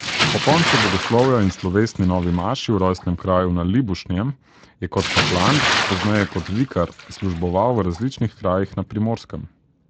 Po koncu bogoslovja in slovesni novi maši v rojstnem kraju na Libušnjem je kot kaplan, pozneje kot vikar, služboval v različnih krajih na Primorskem.